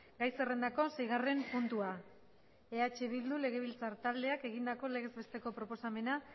gai zerrendako seigarren puntua eh bildu legebiltzar taldeak egindako legez besteko proposamena